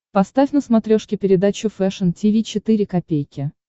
поставь на смотрешке передачу фэшн ти ви четыре ка